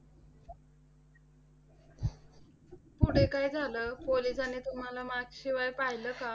पुढे काय झालं? पोलिसांनी तुम्हाला mask शिवाय पाहिले का?